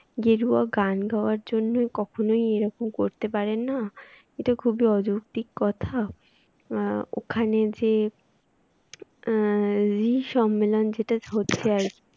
গেরুয়া গান গাওয়ার জন্য কখনো এরকম করতে পারেন না এটা খুবই অযৌক্তিক কথা আহ ওখানে যে আহ যে re সম্মেলন যেটা হচ্ছে আর কি